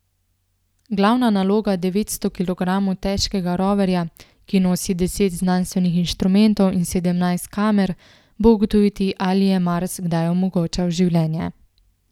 Glavna naloga devetsto kilogramov težkega roverja, ki nosi deset znanstvenih inštrumentov in sedemnajst kamer, bo ugotoviti, ali je Mars kdaj omogočal življenje.